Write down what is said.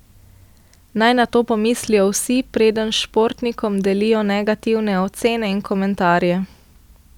Naj na to pomislijo vsi, preden športnikom delijo negativne ocene in komentarje.